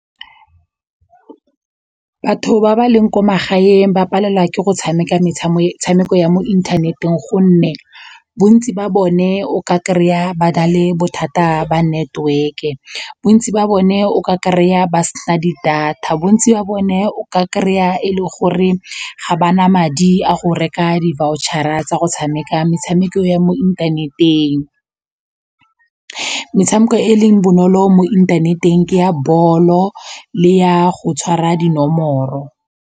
Batho ba ba leng ko magaeng ba palelwa ke go tshameka metshameko ya mo inthaneteng gonne bontsi ba bone o ka kry-a ba na le bothata ba network-e, bontsi ba bone o ka kry-a ba sena di-data, bontsi wa bone o ka kry-a e le gore ga ba na madi a go reka di-voucher-ra tsa go tshameka metshameko ya mo inthaneteng. Metshameko e leng bonolo mo inthaneteng ke ya bolo le ya go tshwara dinomoro.